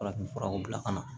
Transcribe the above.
Farafinfuraw bila ka na